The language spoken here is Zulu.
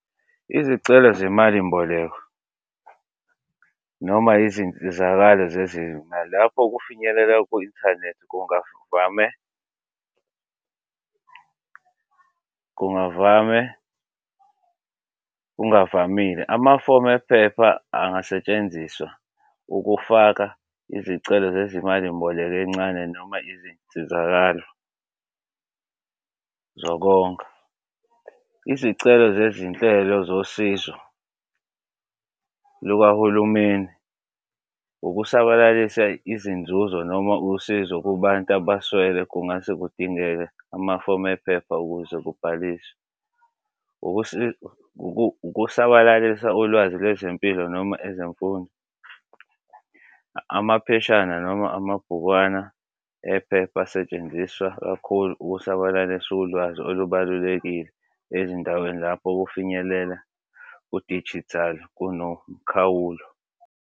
Izicelo semalimboleko noma izinsizakalo zezimali lapho kufinyelela ku-inthanethi kungavame kungavame kungavamile, amafomu ephepha angasetshenziswa ukufaka izicelo zezimalimboleko encane noma izinsizakalo zokonga. Izicelo zezinhlelo zosizo lukahulumeni ukusabalalisa izinzuzo noma usizo kubantu abaswele kungase kudingeke amafomu ephepha ukuze kubhaliswe, ukusabalalisa ulwazi lwezempilo noma ezemfundo. Amapheshana noma amabhukwana ephepha asetshenziswa kakhulu ukusabalalisa ulwazi olubalulekile ezindaweni lapho ukufinyelela ku dijithali kuno mkhawulo.